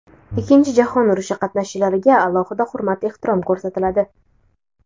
Ikkinchi jahon urushi qatnashchilariga alohida hurmat-ehtirom ko‘rsatiladi.